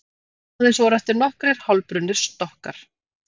Aðeins voru eftir nokkrir hálfbrunnir stokkar